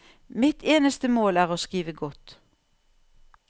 Mitt eneste mål er å skrive godt.